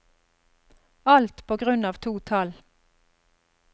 Alt på grunn av to tall.